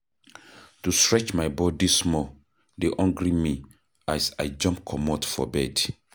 To stretch my body small dey hungry me as I jump comot for bed.